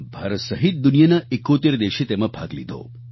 ભારત સહિત દુનિયાના 71 દેશે તેમાં ભાગ લીધો